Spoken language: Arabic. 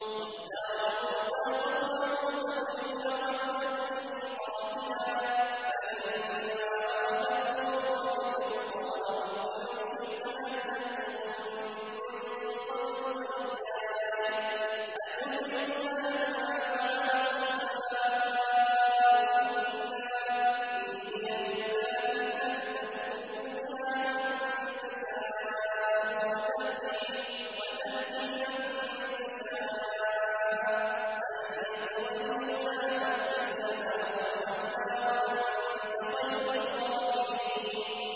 وَاخْتَارَ مُوسَىٰ قَوْمَهُ سَبْعِينَ رَجُلًا لِّمِيقَاتِنَا ۖ فَلَمَّا أَخَذَتْهُمُ الرَّجْفَةُ قَالَ رَبِّ لَوْ شِئْتَ أَهْلَكْتَهُم مِّن قَبْلُ وَإِيَّايَ ۖ أَتُهْلِكُنَا بِمَا فَعَلَ السُّفَهَاءُ مِنَّا ۖ إِنْ هِيَ إِلَّا فِتْنَتُكَ تُضِلُّ بِهَا مَن تَشَاءُ وَتَهْدِي مَن تَشَاءُ ۖ أَنتَ وَلِيُّنَا فَاغْفِرْ لَنَا وَارْحَمْنَا ۖ وَأَنتَ خَيْرُ الْغَافِرِينَ